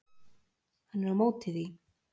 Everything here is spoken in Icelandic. Hann er á móti því.